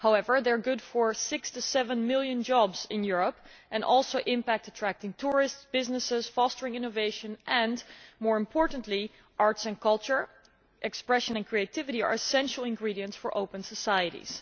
However, they are good for six to seven million jobs in Europe and also have an impact on attracting tourists and businesses and fostering innovation and, more importantly, arts and culture, expression and creativity are essential ingredients for open societies.